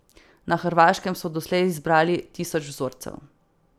Na Hrvaškem so doslej zbrali tisoč vzorcev.